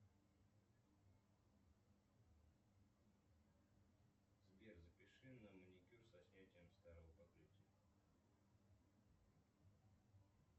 сбер запиши на маникюр со снятием старого покрытия